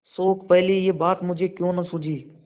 शोक पहले यह बात मुझे क्यों न सूझी